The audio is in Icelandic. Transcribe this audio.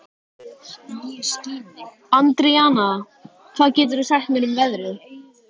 Andríana, hvað geturðu sagt mér um veðrið?